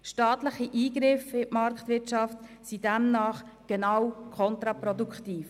Staatliche Eingriffe in die Marktwirtschaft sind demnach genau kontraproduktiv.